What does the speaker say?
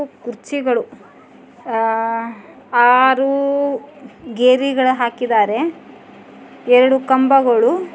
ಕುರ್ಚಿಗಳು ಅಹ್ ಆರು ಗೆರಿಗಳು ಹಾಕಿದಾರೆ ಎರಡು ಕಂಬಗಳು.